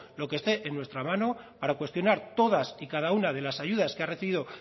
lo que esté en nuestra mano para cuestionar todas y cada una de las ayudas que ha recibido